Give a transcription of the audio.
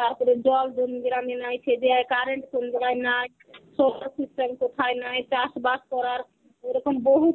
তারপরে জল কোন গ্রামে নাই সে দেওয়া, current কোন গ্রামে নাই, solar system কোথায় নাই, চাষবাস করার. এরকম বহু